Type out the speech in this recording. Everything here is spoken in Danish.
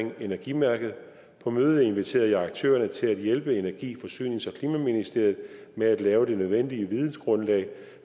om energimærket på mødet inviterede jeg aktørerne til at hjælpe energi forsynings og klimaministeriet med at lave det nødvendige vidensgrundlag